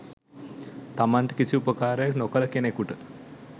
තමන්ට කිසි උපකාරයක් නොකළ කෙනකුට